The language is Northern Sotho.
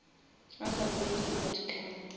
a sa tsebe di outcome